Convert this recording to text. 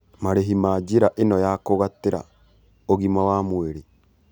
Marĩhi ma njĩra ĩno ya kũgatĩra ũgima wa mwĩrĩ